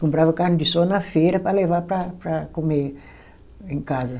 Comprava carne de sol na feira para levar para para comer em casa.